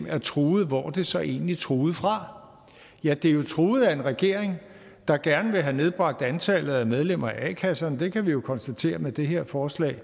er truet hvor er det så egentlig truet fra ja det er jo truet af en regering der gerne vil have nedbragt antallet af medlemmer af a kasserne det kan vi jo konstatere med det her forslag